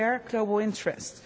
We share global interests.